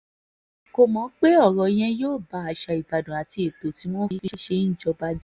kò mọ̀ pé ọ̀rọ̀ yẹn yóò ba àṣà ìbàdàn àti ètò bí wọ́n ṣe ń jọba jẹ́